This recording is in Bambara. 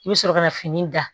I bɛ sɔrɔ ka na fini da